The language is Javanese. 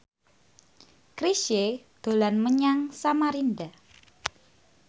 Chrisye dolan menyang Samarinda